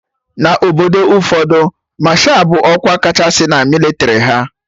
Na Obodo ụfọdụ, Masha bụ ọkwa kachasị na mịlịtrị ha